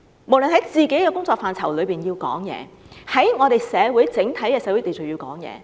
無論就本身的工作範疇，或就整體的社會秩序，都要發聲。